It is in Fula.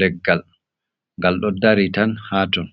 Leggal gal do dari tan ha ton